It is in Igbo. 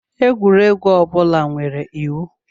Egwuregwu ọ bụla nwere iwu.